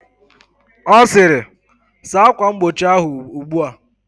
Ọ sịrị, saa akwa mgbochi ahụ ugbua!